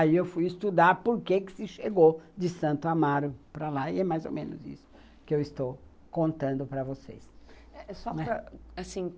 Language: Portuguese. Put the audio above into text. Aí eu fui estudar porque que se chegou de Santo Amaro para lá e é mais ou menos isso que eu estou contando para vocês. Só para, assim,